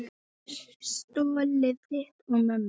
Stoltið þitt og mömmu.